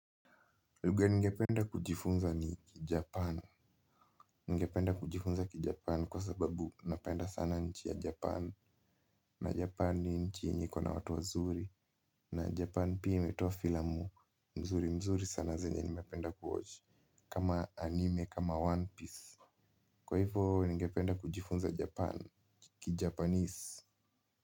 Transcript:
Lugha ningependa kujifunza ni kijapan. Ningependa kujifunza kijapan kwa sababu napenda sana nchi ya Japan. Na Japan ni nchi yenye kuwa na watu wazuri. Na Japan pia imetoa filamu. Mzuri mzuri sana zenye nimependa kuwatch. Kama anime, kama One Piece. Kwa hivyo ningependa kujifunza Japan. Ki Japanese.